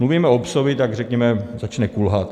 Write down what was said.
Mluvíme o "psovi", tak řekněme: začne kulhat.